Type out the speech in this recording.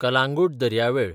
कलांगूट दर्यावेळ